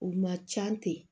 U ma ca ten